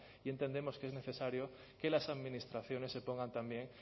y entendemos que es necesario que las administraciones se pongan también